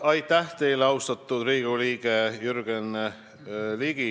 Aitäh teile, austatud Riigikogu liige Jürgen Ligi!